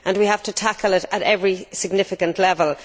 We have to tackle it at every significant level.